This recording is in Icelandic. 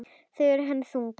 Þau eru henni þung.